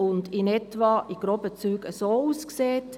Dies sieht in groben Zügen wie folgt aus: